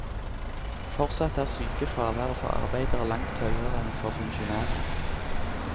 Fortsatt er sykefraværet for arbeidere langt høyere enn for funksjonærer.